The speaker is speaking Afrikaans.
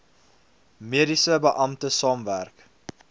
mediese beampte saamwerk